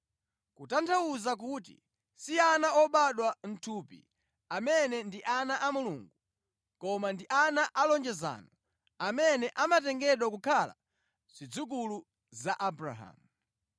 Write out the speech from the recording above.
Kutanthauza kuti, si ana obadwa mʼthupi amene ndi ana a Mulungu koma ndi ana a lonjezano amene amatengedwa kukhala zidzukulu za Abrahamu.